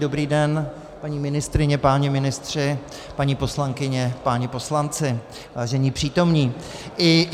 Dobrý den, paní ministryně, páni ministři, paní poslankyně, páni poslanci, vážení přítomní.